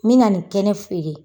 Min na nin kɛnɛ feere.